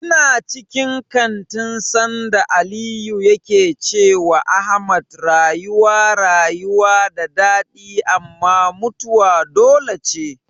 Ina cikin kantin sanda Aliyu yake cewa Ahmad rayuwa rayuwa da daɗi amma mutuwa dole ce.